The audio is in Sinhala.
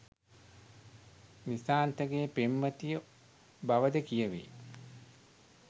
නිශාන්තගේ පෙම්වතිය බවද කියැවේ.